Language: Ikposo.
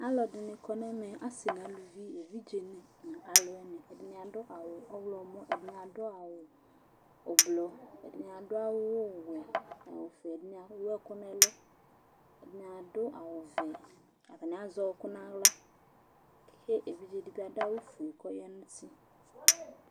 Alʋɛdɩnɩ kɔ nʋ ɛmɛ, asɩ nʋ aluvi, evidzenɩ nʋ alʋwɩnɩ Ɛdɩnɩ adʋ awʋ ɔɣlɔmɔ, ɛdɩnɩ adʋ awʋ oblo, ɛdɩnɩ adʋ awʋwɛ, awʋvɛ, ɛdɩnɩ ewu ɛkʋ nʋ ɛlʋ, ɛdɩnɩ adʋ awʋvɛ, atanɩ azɛ ɔɣɔkʋ nʋ aɣla kʋ evidze dɩ bɩ adʋ awʋfue kʋ ɔya nʋ uti